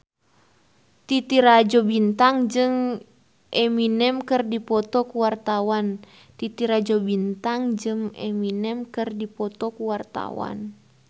Titi Rajo Bintang jeung Eminem keur dipoto ku wartawan